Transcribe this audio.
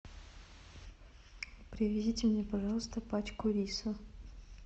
привезите мне пожалуйста пачку риса